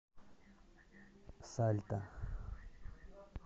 сальта